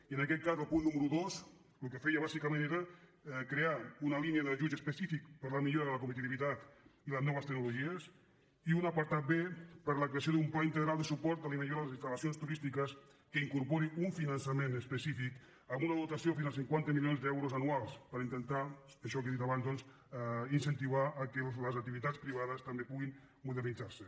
i en aquest cas el punt núme·ro dos el que feia bàsicament era crear una línia d’ajuts específics per a la millora de la competitivitat i les no·ves tecnologies i un apartat b per la creació d’un pla integral de suport i millora de les instalques que incorpori un finançament específic amb una dotació de fins a cinquanta milions d’euros anuals per inten·tar això que he dit abans doncs incentivar que les ac·tivitats privades també puguin modernitzar·se